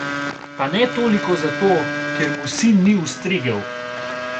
Pa ne toliko za to, ker mu sin ni ustregel.